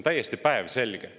See on päevselge.